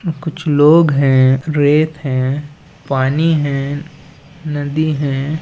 कुछ लोग हैं रेत हैं पानी हैं नदी है।